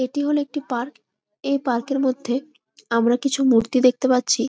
এটি হল একটি পার্ক । এই পার্ক -এর মধ্যে আমরা কিছু মূর্তি দেখতে পাচ্ছি।